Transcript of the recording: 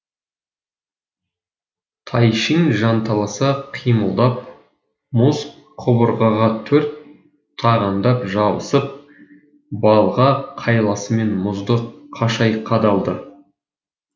тайшын жанталаса қимылдап мұз қабырғаға төрт тағандап жабысып балға қайласымен мұзды қашай қадалды